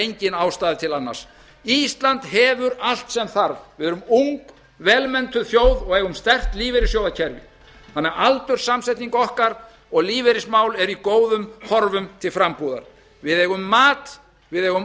engin ástæða til annars ísland hefur allt sem þarf við erum ung vel menntuð þjóð og eigum sterkt lífeyrissjóðakerfi þannig að aldurssamsetning okkar og lífeyrismál eru í góðum horfum til frambúðar við eigum mat við eigum